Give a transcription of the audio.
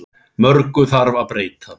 Mörgu þarf að breyta.